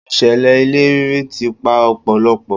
Ìṣẹ̀lẹ̀ ilẹ̀ rírì ti pa ọ̀pọ̀lọpọ̀.